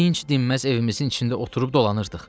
Dinc dinməz evimizin içində oturub dolanırdıq.